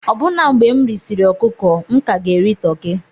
Ọbụna mgbe m risịrị ọkụkọ, m ka ga-eri toki.